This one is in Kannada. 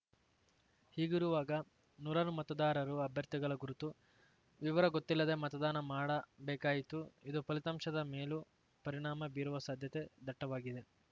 ಹೀಗಿರುವಾಗ ನೂರಾರು ಮತದಾರರು ಅಭ್ಯರ್ಥಿಗಳ ಗುರುತು ವಿವರ ಗೊತ್ತಿಲ್ಲದೆ ಮತದಾನ ಮಾಡಬೇಕಾಯಿತು ಇದು ಫಲಿತಾಂಶದ ಮೇಲೂ ಪರಿಣಾಮ ಬೀರುವ ಸಾಧ್ಯತೆ ದಟ್ಟವಾಗಿದೆ